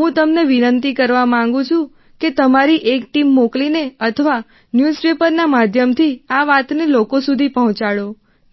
હું તમને વિનંતી કરવા માંગું છું કે તમારી એક ટીમ મોકલીને અથવા ન્યૂઝપેપર માધ્યમથી આ વાત લોકો સુધી પહોંચાડો